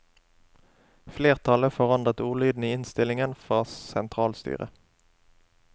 Flertallet forandret ordlyden i innstillingen fra sentralstyret.